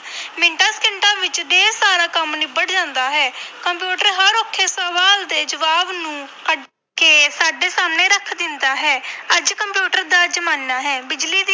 ਮਿੰਟਾਂ ਸਕਿੰਟਾਂ ਵਿੱਚ ਢੇਰ ਸਾਰਾ ਕੰਮ ਨਿਬੜ ਜਾਂਦਾ ਹੈ ਕੰਪਿਊਟਰ ਹਰ ਔਖੇ ਸਵਾਲ ਦੇ ਜਵਾਬ ਨੂੰ ਕੱਢ ਕੇ ਸਾਡੇ ਸਾਹਮਣੇ ਰੱਖ ਦਿੰਦਾ ਹੈ ਅੱਜ ਕੰਪਿਊਟਰ ਦਾ ਜ਼ਮਾਨਾ ਹੈ ਬਿਜ਼ਲੀ ਦੀ